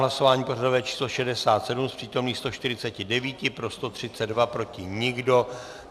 Hlasování pořadové číslo 67, z přítomných 149 pro 132, proti nikdo.